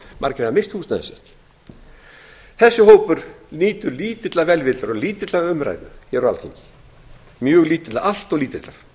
margir hafa misst húsnæði sitt þessi hópur nýtur lítillar velvildar og lítillar umræðu hér á alþingi allt of lítillar